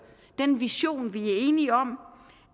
den vision vi er enige om